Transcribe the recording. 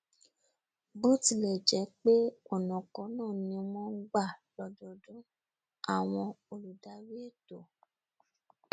bótilẹ̀jẹ́pé ọnà kan náà um ni wọn n gbà lọdọọdún àwọn olùdarí ètò